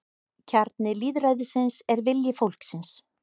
Kjarni lýðræðisins er vilji fólksins